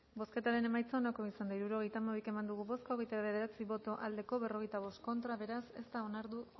bozketaren emaitza onako izan da hirurogeita hamabi eman dugu bozka hirurogeita hamalau eman dugu bozka hogeita bederatzi boto aldekoa cuarenta y cinco contra beraz ez da onartu